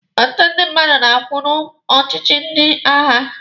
Ụtụtụ ndị mmadụ na-anwụ n'ọchịchị ndị agha.